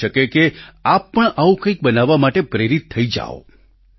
બની શકે કે આપ પણ આવું કંઈક બનાવવા માટે પ્રેરિત થઈ જાવ